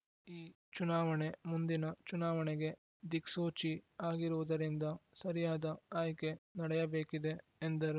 ಈ ಚುನಾವಣೆ ಮುಂದಿನ ಚುನಾವಣೆಗೆ ದಿಕ್ಸೂಚಿ ಆಗಿರುವುದರಿಂದ ಸರಿಯಾದ ಆಯ್ಕೆ ನಡೆಯಬೇಕಿದೆ ಎಂದರು